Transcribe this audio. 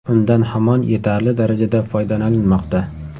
Undan hamon yetarli darajada foydalanilmoqda.